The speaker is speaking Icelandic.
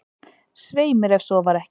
"""Svei mér, ef svo var ekki."""